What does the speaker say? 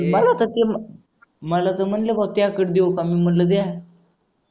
मला तर मला तर म्हणले बा त्याकडे देऊ का मी म्हणलं द्या